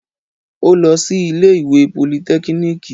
Ó lọ sí ilé ìwé politẹ́kíníìkì